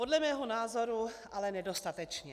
Podle mého názoru ale nedostatečně.